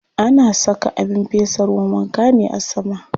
Ana saka abin fesa ruwan wanka ne a sama.